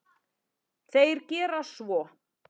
Þeir gera svo.